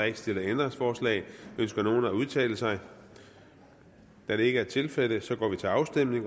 ikke stillet ændringsforslag ønsker nogen at udtale sig da det ikke er tilfældet går vi til afstemning